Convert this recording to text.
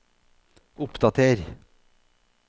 oppdater